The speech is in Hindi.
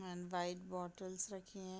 एंड व्हाइट बॉटल्स रखी है।